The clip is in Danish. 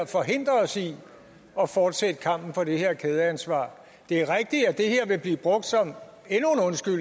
forhindrer os i at fortsætte kampen for det her kædeansvar det er rigtigt at det her vil blive brugt som